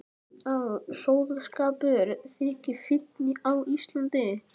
Að sóðaskapur þyki fínn á Íslandi.